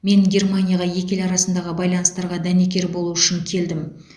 мен германияға екі ел арасындағы байланыстарға дәнекер болу үшін келдім